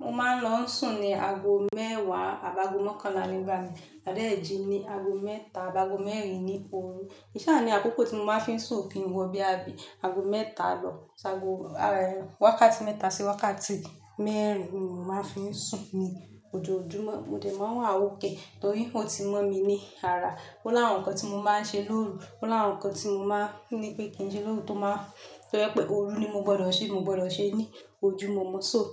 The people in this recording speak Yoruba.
Mo máa ń lọ ń sùn ní ago mẹ́wàá àbágo mọ́kànlá nígbà mi, má dẹ́ ji ni ago mẹ́ta àbágo mẹ́rin ní òru. Ki n ṣa ní àkókò tí mo máa ń fi sùn ò kin wọ bóyá bi ago mẹ́ta lọ, si àgo wákàtí mẹ́ta sí wákàtí mẹ́rin ni mò ń máa ń fi ń sùn ní ojoojúmọ́. Mo dè máa ń wà okay torí ó ti mọ̀ mí ní ara. Ó ni àwọn nǹkan tí mo máa ń ṣe lóru, ó ni àwọn nǹkan tí mo máa ń ní pé kí n ṣe lóru tó máa ń tó jẹ́ pé òru ni mo gbọdọ̀ ṣe, mo gbọdọ̀ ṣe ní ojúmọ́mo. So,